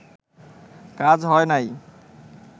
কাজ হয় নাই